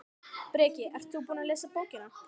Breki: Ert þú búinn að lesa bókina?